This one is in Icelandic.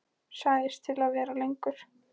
Sagðist til í að vera lengur.